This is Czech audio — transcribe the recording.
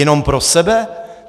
Jenom pro sebe?